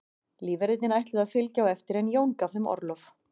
Lífverðirnir ætluðu að fylgja á eftir en Jón gaf þeim orlof.